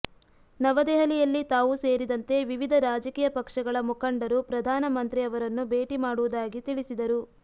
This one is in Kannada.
ನವದೆಹಲಿಯಲ್ಲಿ ತಾವು ಸೇರಿದಂತೆ ವಿವಿಧ ರಾಜಕೀಯ ಪಕ್ಷಗಳ ಮುಖಂಡರು ಪ್ರಧಾನ ಮಂತ್ರಿ ಅವರನ್ನು ಭೇಟಿ ಮಾಡುವುದಾಗಿ ತಿಳಿಸಿದರು